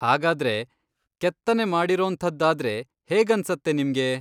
ಹಾಗಾದ್ರೆ ಕೆತ್ತನೆ ಮಾಡಿರೋಂಥದ್ದಾದ್ರೆ ಹೇಗನ್ಸತ್ತೆ ನಿಮ್ಗೆ?